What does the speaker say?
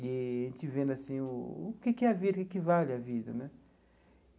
Eee a gente vendo assim o o que que é a vida, o que vale a vida né.